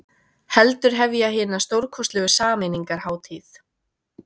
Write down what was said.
Heldur hefja hina stórkostlegu sameiningarhátíð.